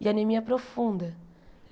e anemia profunda.